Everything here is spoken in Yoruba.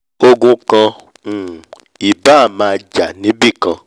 ogun kan um ì báà máa jà níbìkan